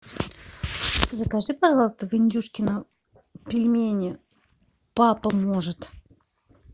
закажи пожалуйста в индюшкино пельмени папа может